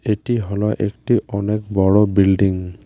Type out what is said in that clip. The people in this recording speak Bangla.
এটি হল একটি অনেক বড় বিল্ডিং ।